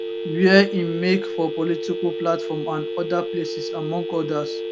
wia im make for political platform and oda places among odas